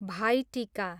भाइ टिका